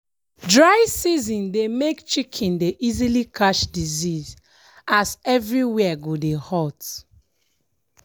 dry season dey make chicken dey easily catch disease as everywhere go dey hot.